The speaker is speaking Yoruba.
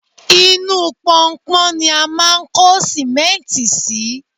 inú pọnpọn ni a máà ń kó sìmẹ́ntì sí